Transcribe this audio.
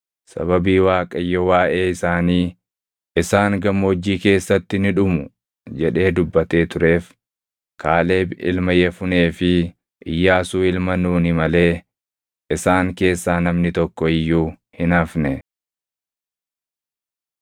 Sababii Waaqayyo waaʼee isaanii, “Isaan Gammoojjii keessatti ni dhumu” jedhee dubbatee tureef, Kaaleb ilma Yefunee fi Iyyaasuu ilma Nuuni malee isaan keessaa namni tokko iyyuu hin hafne.